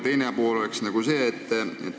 Teine pool on see.